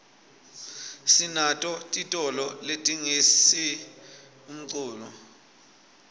sinato titolo letitsengisa umculo